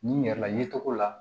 N'i yɛrɛla ye cogo la